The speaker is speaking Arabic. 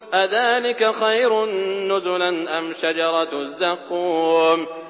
أَذَٰلِكَ خَيْرٌ نُّزُلًا أَمْ شَجَرَةُ الزَّقُّومِ